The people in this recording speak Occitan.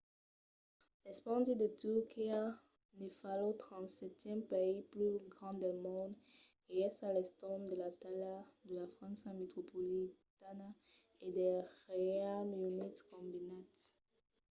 l’espandi de turquia ne fa lo 37n país pus grand del mond e es a l'entorn de la talha de la frança metropolitana e del reialme unit combinats